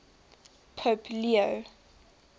pope leo